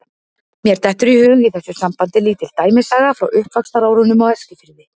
Mér dettur í hug í þessu sambandi lítil dæmisaga frá uppvaxtarárunum á Eskifirði.